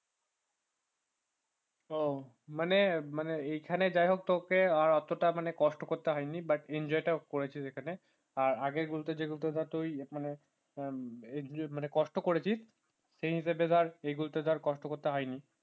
ও মানে মানে এখানে যাই হোক তোকে আর অতটা কষ্ট করতে হয়নি but enjoy টা করেছি সেখানে আর আগের গুলো যে ধর তুই মানে কষ্ট করেছিস সেই হিসাবে ধর এইগুলোতে ধরে কষ্ট করতে হয়নি